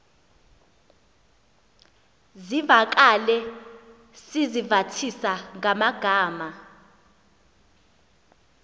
zivakale sizivathisa ngamagama